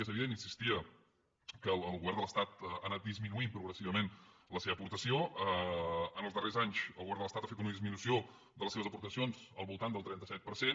és evident hi insistia que el govern de l’estat hi ha anat disminuint progressivament la seva aportació en els darrers anys el govern de l’estat hi ha fet una disminució de les seves aportacions del voltant del trenta set per cent